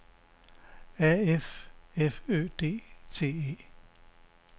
A F F Ø D T E